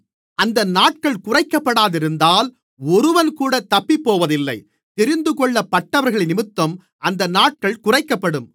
அந்த நாட்கள் குறைக்கப்படாமலிருந்தால் ஒருவன்கூட தப்பிப்போவதில்லை தெரிந்துகொள்ளப்பட்டவர்களினிமித்தம் அந்த நாட்கள் குறைக்கப்படும்